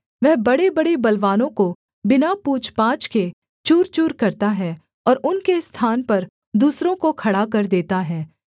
वह बड़ेबड़े बलवानों को बिना पूछपाछ के चूरचूर करता है और उनके स्थान पर दूसरों को खड़ा कर देता है